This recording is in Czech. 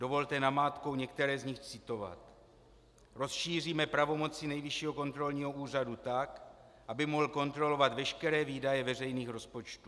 Dovolte namátkou některé z nich citovat: "Rozšíříme pravomoci Nejvyššího kontrolního úřadu tak, aby mohl kontrolovat veškeré výdaje veřejných rozpočtů."